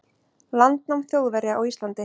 landnám Þjóðverja á Íslandi.